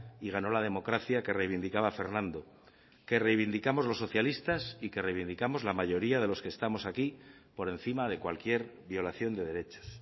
y ganó la democracia que reivindicaba fernando que reivindicamos los socialistas y que reivindicamos la mayoría de los que estamos aquí por encima de cualquier violación de derechos